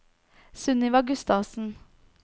Sunniva Gustavsen